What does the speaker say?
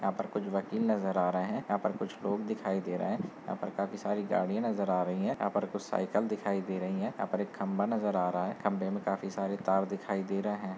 यहां पर कुछ वकील नजर आ रहे हैं। यहां पर कुछ लोग दिखाई दे रहे हैं। यहां पर काफी सारी गाड़ी नजर आ रही है यहां पर कुछ साइकिल दिखाई दे रही है यहां पर एक खंबा नजर आ रहा है। खंबे में काफी सारे तार दिखाई दे रहे हैं।